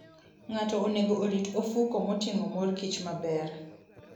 Ng'ato onego orit ofuko moting'o mor kich maber.